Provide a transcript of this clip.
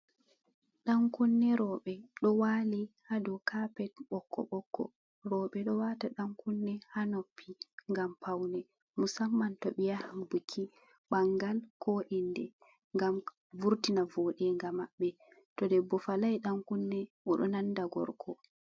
Ɗan kunne roɓɓe ɗo wali ha dou kapet ɓokko ɓokko roɓɓe ɗo wata dan kunne ha noppi gam paune musamman to ɓe yahan buki bangal, ko inde, ngam vurtina voɗenga maɓɓe to debbo falai dan kunne oɗo nanda gorko.